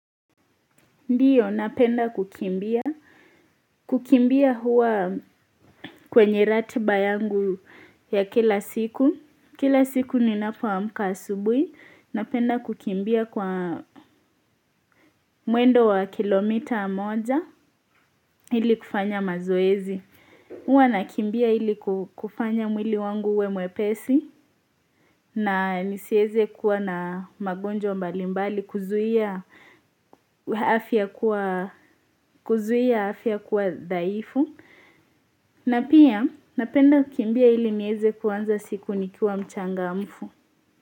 Ndio napenda kukimbia. Kukimbia huwa kwenye ratiba yangu ya kila siku. Kila siku ninapo amka asubui. Napenda kukimbia kwa mwendo wa kilomita moja ili kufanya mazoezi. Huwa na kimbia ili kufanya mwili wangu uwe mwepesi na nisieze kuwa na magonjwa mbalimbali kuzuia kuzuia afya kuwa dhaifu. Na pia napenda kimbia ili nieze kuanza siku nikiwa mchangamfu.